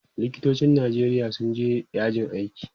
likitocin Nijeria sun je yajin aiki